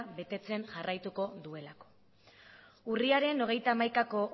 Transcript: betetzen jarraituko duela urriaren hogeita hamaikako